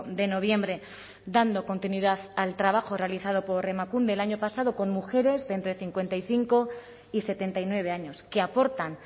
de noviembre dando continuidad al trabajo realizado por emakunde el año pasado con mujeres de entre cincuenta y cinco y setenta y nueve años que aportan